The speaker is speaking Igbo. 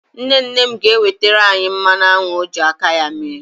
Nne nne m ga-ewetara anyị mmanụ aṅụ ọ ji aka ya mee.